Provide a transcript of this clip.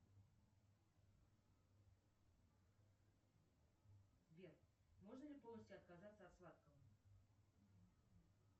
сбер можно ли полностью отказаться от сладкого